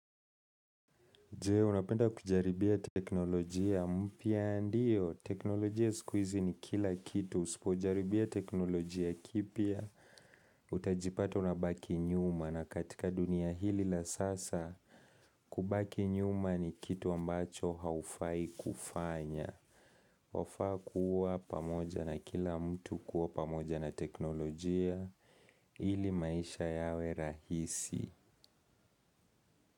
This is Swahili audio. Je, unapenda kujaribia teknolojia mpia? Ndio, teknolojia siku hizi ni kila kitu, usipo jaribia teknolojia kipya, utajipata unabaki nyuma na katika dunia hili la sasa kubaki nyuma ni kitu ambacho haufai kufanya. Wafaa kuwa pamoja na kila mtu kuwa pamoja na teknolojia, ili maisha yawe rahisi.